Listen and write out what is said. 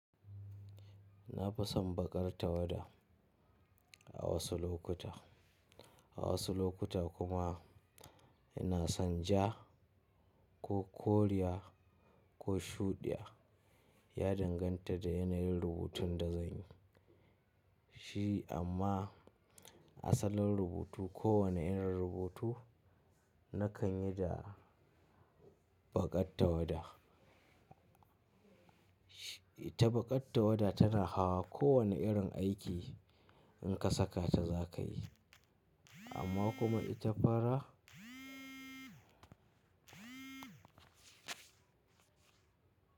Na fi son baƙar tawada a wasu lokuta, a wasu lokuta kuma ina san ja ko koriya ko shuɗiya ya danganta da yanayin rubutun da zan yi shi amma asalin rubutu ko wane irin rubutu nakan yi da baƙar tawada. Ita baƙar tawada tana hawa kowane irin aiki in ka saka ta za ka yi amma kuma ita fara.